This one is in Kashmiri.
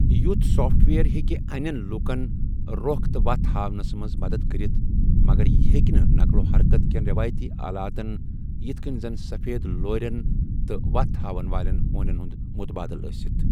یُتھ سافٹ ویئر ہٮ۪کہِ اَنٮ۪ن لوٗکَن رۄخ تہٕ وتھ ہاونَس منٛز مدد کٔرِتھ، مگر یہِ ہٮ۪کہِ نہٕ نقل و حرکتٕ کین رٮ۪وٲیتی آلاتن یِتھہٕ کٔنۍ زن سفید لورٮ۪ن تہٕ وتھ ہاوَن والین ہونٮ۪ن ہُند مُتبٲدِل ٲسِتھ ۔